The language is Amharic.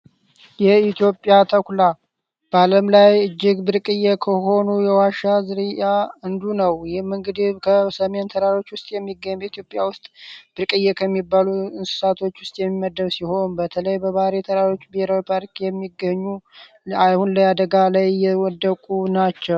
የኢትዮጵያ ተኩላ በዓለም ላይ እጅግ ብርቅዬ ከሆኑ የዋሻ ዝርያ እንዱ ነው። ይህም እንግዲህ ከሰሜን ተራሮች ውስጥ የሚገኝ በኢትዮጵያ ውስጥ ብርቅዬ ከሚባሉ እንስሳቶች ውስጥ የሚመደብ ሲሆን፤ በተለይ በባህር የተራሮች ብሄራዊ ፖርክ የሚገኙ አሁን ላይ አደጋ ላይ ወደቁ ናቸው።